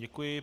Děkuji.